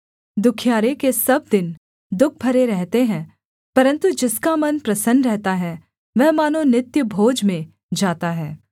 दुःखियारे के सब दिन दुःख भरे रहते हैं परन्तु जिसका मन प्रसन्न रहता है वह मानो नित्य भोज में जाता है